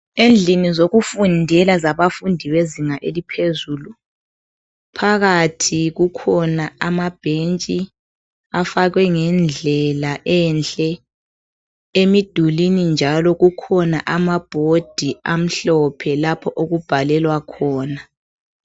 Endlini zokufundela zabafundi bezinga eliphezulu, phakathi kukhona amabhentshi afakwe ngendlela enhle. Emidulini njalo kukhona amabhodi amhlophe lapho okubhalelwa khona.